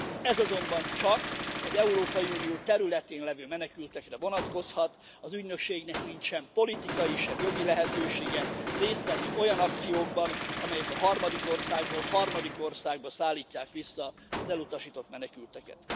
Ez azonban csak az Európai Unió területén levő menekültekre vonatkozhat, az ügynökségnek nincs sem politikai, sem jogi lehetősége részt venni olyan akciókban, amelyek harmadik országból harmadik országba szállítják vissza az elutasított menekülteket.